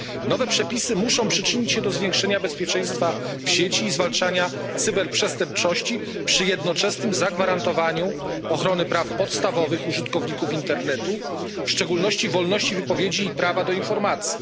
Nowe przepisy muszą przyczynić się do zwiększenia bezpieczeństwa w sieci i zwalczania cyberprzestępczości przy jednoczesnym zagwarantowaniu ochrony praw podstawowych użytkowników internetu, w szczególności wolności wypowiedzi i prawa do informacji.